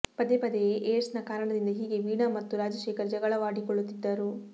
ಪದೇ ಪದೇ ಏಡ್ಸ್ನ ಕಾರಣದಿಂದ ಹೀಗೆ ವೀಣಾ ಮತ್ತು ರಾಜಶೇಖರ್ ಜಗಳವಾಡಿಕೊಳ್ಳುತ್ತಿದ್ದರು